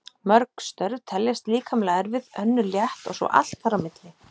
Mörg störf teljast líkamlega erfið, önnur létt og svo allt þar á milli.